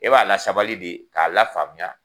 E b'a la sabali de k'a la faamuya.